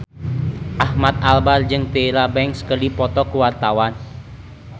Ahmad Albar jeung Tyra Banks keur dipoto ku wartawan